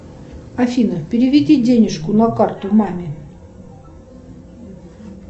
афина переведи денежку на карту маме